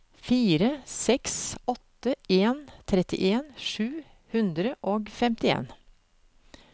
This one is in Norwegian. fire seks åtte en trettien sju hundre og femtien